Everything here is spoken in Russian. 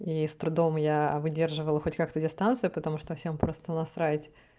и с трудом я выдерживаю хоть как-то дистанцию потому что всем просто насрать